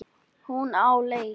Hún á leik.